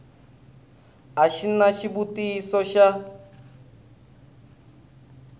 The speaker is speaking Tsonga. a xi na xivutiso xa